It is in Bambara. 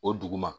O duguma